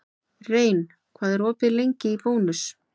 Rein, hvað er opið lengi í Bónus?